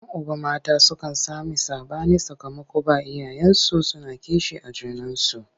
Yan uba mata sukan sami saɓani sakamakon ba iyayensu suna kishi a junansu.